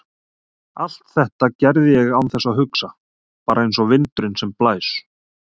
Allt þetta gerði ég án þess að hugsa, bara einsog vindurinn sem blæs.